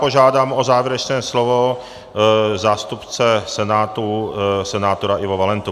Požádám o závěrečné slovo zástupce Senátu, senátora Ivo Valentu.